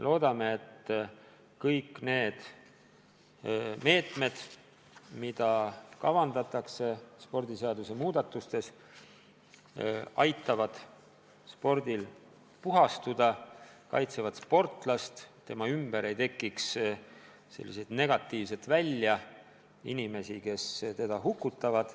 Loodame, et kõik need meetmed, mida spordiseadust muutes kavandatakse, aitavad spordil puhastuda ja kaitsevad sportlast, et tema ümber ei tekiks sellist negatiivset välja, inimesi, kes teda hukutavad.